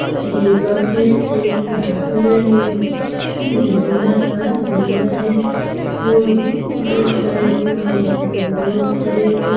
दीपक है एक मे झंडा सा झंडा है आउट साइड में दो लोग खड़े हैं